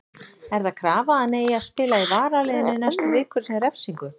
Er það krafa að hann eigi að spila í varaliðinu næstu vikur sem refsingu?